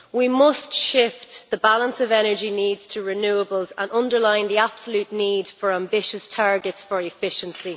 We must shift the balance of energy needs to renewables and underline the absolute need for ambitious targets for efficiency.